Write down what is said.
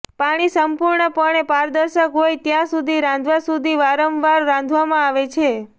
પાણી સંપૂર્ણપણે પારદર્શક હોય ત્યાં સુધી રાંધવા સુધી વારંવાર રાંધવામાં આવે છે